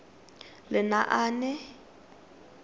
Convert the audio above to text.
lenaane